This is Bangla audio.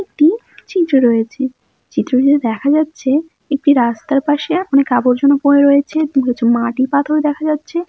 একটি চিত্র রয়েছে চিত্রটিতে দেখা যাচ্ছে একটি রাস্তার পাশে অনেক আবর্জনা পড়ে রয়েছে তো কিছু মাটি পাথর দেখা যাচ্ছে।